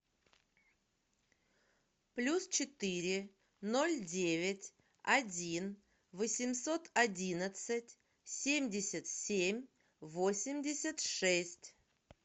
плюс четыре ноль девять один восемьсот одинадцать семьдесят семь восемьдесят шесть